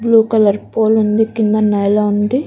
Blue colour pool ఉంది. కింద నేల ఉంది.